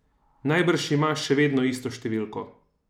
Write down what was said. Najbrž imaš še vedno isto številko?